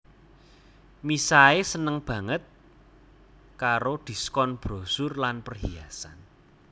Misae seneng baget karo diskon brosur lan perhiasan